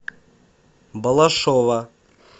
балашова